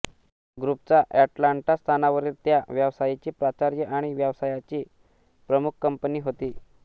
ग्रुपच्या एटलांटा स्थानावरील त्या व्यवसायाची प्राचार्य आणि व्यवसायाची प्रमुख कंपनी होती